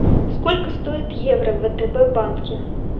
сколько стоит евро в втб банке